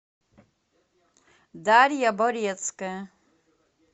дарья борецкая